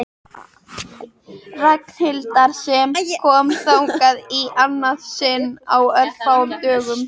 Ragnhildar sem kom þangað í annað sinn á örfáum dögum.